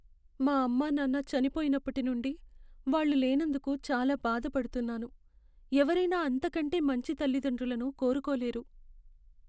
మా అమ్మానాన్న చనిపోయినప్పటి నుండి వాళ్ళు లేనందుకు చాలా బాధపడుతున్నాను. ఎవరైనా అంతకంటే మంచి తల్లిదండ్రులను కోరుకోలేరు.